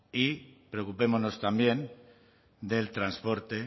y preocupémonos también del transporte